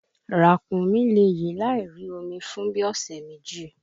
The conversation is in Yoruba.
Ràkúnmí le yè láì rí omi fún bíi ọ̀sẹ̀ méjì